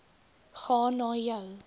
gaan na jou